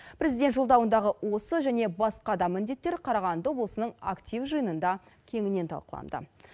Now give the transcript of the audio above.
президент жолдауындағы осы және басқа да міндеттер қарағанды облысының актив жиынында кеңінен талқыланды